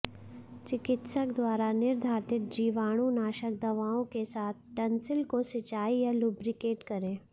चिकित्सक द्वारा निर्धारित जीवाणुनाशक दवाओं के साथ टन्सिल को सिंचाई या लुब्रिकेट करें